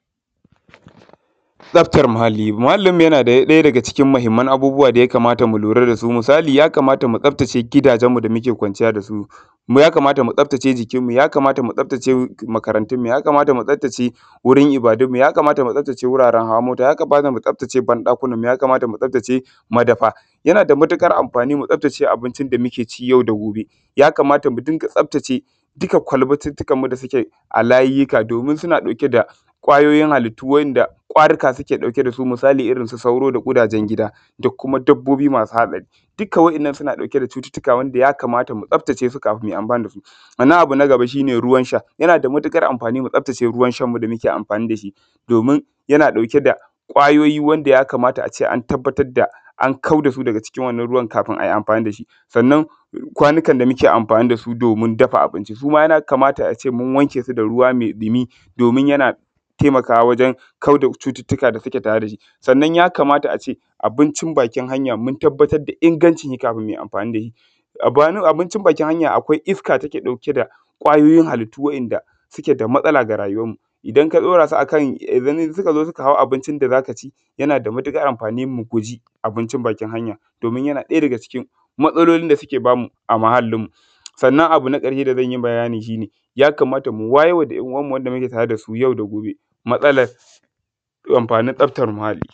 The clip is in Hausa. Tsaftar muhalli. Tsaftan muhallinmu yana ɗaya daga cikin muhimman abubuwa da ya kamata mu lura da su, misali ya kamata mu tsaftace gidajenmu da muke kwanciya da su, ya kamata mu tsaftace jikinmu, ya kamata mu tsaftace makarantunmu, ya kamata mu tsaftace wajen ibadunmu. Ya kamata mu tsaftace wuraren hawa mota, ya kamata mu tsaftce banɗakinmu, ya kamata mu tfastace madafa yana da matuƙar amfani mu tsaftace abincin yau da gobe, ya kamata mu dinga tsaftace duka kwalbatittikanmu da suke a layika domin suna ɗauke da kwayoyin halittu wanda marika suke ɗauke da su, misali irin su sauro da ƙudajen gida da kuma dabbobi masu matsari. Duka waɗannan suna ɗauke da cututtuka wanda ya kamata mu tsaftace su kafun mu yi amfani da su. Sannan abu na gaba shi ne ruwan sha yana da matuƙar amfani mu tsaftace ruwan shan mu da muke amfani da shi domin yana ɗauke da kwayoyi wanda ya kamata a ce an tabbatar da an kawar da su daga cikin wannan ruwan kafun a yi amfani da shi. Sannan kwanikan da muke amfani da su domin dafa abinci su ma ya kamata a ce mun wanke su da ruwa me ɗumi, domin yana taimakawa wajen kau da cututtuka da suke tare da shi, sannan ya ja mata a ce abincin bakin hanya, mu tabbatar da ingancin shi kafun mu yi amfani da shi, abincin bakin hanya akwai iska da yake ɗauke da kwayoyin halittu da suke da matsala da rayuwanmu, idan ka ɗaura su akan idan su ka zo suka hau abincin da za ka ci yana da matuƙar amfani mu guji abincin bakin hanya, yana ɗaya daga cikin matsalolin da yake ba mu a muhallinmu sannan abu na ƙarshe da zan yi bayanin shi, shi ne ya kamata mu wayarwa ‘yan uwan mu da muke tare da su yau da gobe matsalar amfanin tsaftar muhalli.